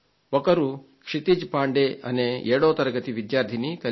క్షితిజ్ పాండే అనే ఏడో తరగతి విద్యార్థి కలిశాడు